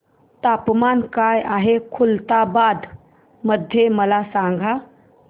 तापमान काय आहे खुलताबाद मध्ये मला सांगा